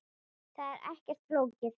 Það er ekkert flókið.